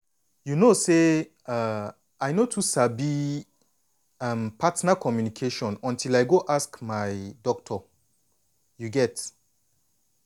you know say um i no too sabi um partner communication until i go ask my doctor you get.